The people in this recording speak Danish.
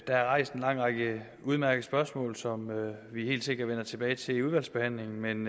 er rejst en lang række udmærkede spørgsmål som vi helt sikkert vender tilbage til under udvalgsbehandlingen men